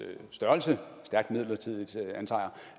størrelse